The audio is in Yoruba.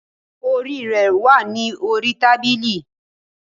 Your headgear is on the table